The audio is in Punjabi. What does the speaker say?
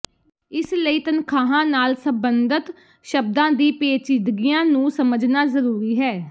ਇਸ ਲਈ ਤਨਖ਼ਾਹਾਂ ਨਾਲ ਸਬੰਧਤ ਸ਼ਬਦਾਂ ਦੀ ਪੇਚੀਦਗੀਆਂ ਨੂੰ ਸਮਝਣਾ ਜ਼ਰੂਰੀ ਹੈ